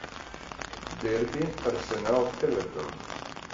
дерби арсенал эвертон